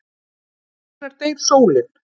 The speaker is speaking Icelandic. Hvenær deyr sólin?